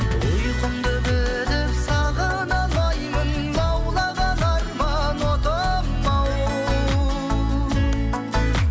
ұйқымды бөліп сағына алмаймын лаулаған арман отым ау